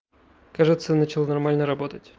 кажется начал нормально работать